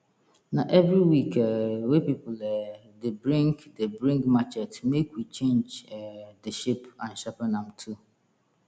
na every week um wey pipul um dey bring dey bring machete make we change um de shape and sharpen am too